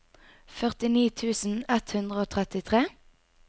førtini tusen ett hundre og trettitre